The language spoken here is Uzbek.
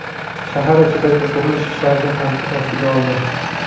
shahar ichidagi qurilish ishlarini tanqid ostiga oldi.